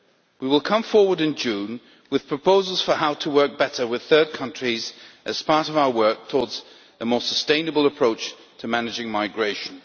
We will come forward in June with proposals on how to work better with third countries as part of our work towards a more sustainable approach to managing migration.